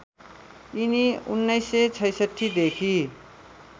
यिनी १९६६ देखि